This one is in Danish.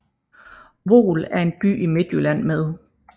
Voel er en lille by i Midtjylland med